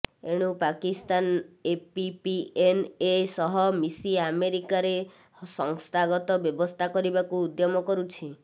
ଏଣୁ ପାକିସ୍ତାନ ଏପିପିଏନଏ ସହ ମିସି ଆମେରିକାରେ ସଂସ୍ଥାଗତ ବ୍ୟବସ୍ଥା କରିବାକୁ ଉଦ୍ୟମ କରୁଛି